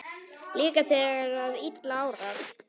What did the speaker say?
Líka þegar að illa árar?